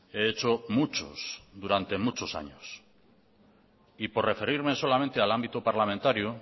he hecho muchos durante muchos años y por referirme solamente al ámbito parlamentario